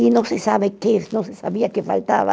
E não se sabe o que, não se sabia o que faltava.